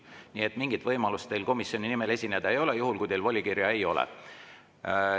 Nii et mingit võimalust teil komisjoni nimel esineda ei ole, juhul kui teil volikirja ei ole.